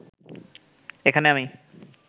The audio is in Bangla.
এখানে আমি